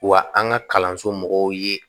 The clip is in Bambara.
Wa an ka kalanso mɔgɔw ye